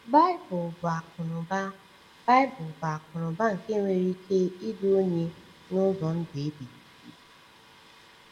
Baịbụl bụ akụnụba Baịbụl bụ akụnụba nke nwere ike idu onye n’ụzọ ndụ ebighị ebi.